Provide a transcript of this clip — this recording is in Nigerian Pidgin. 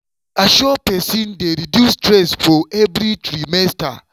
to dey assure person dey reduce stress for every trimester.